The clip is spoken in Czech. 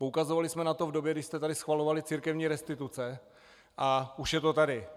Poukazovali jsme na to v době, když se tady schvalovaly církevní restituce, a už je to tady.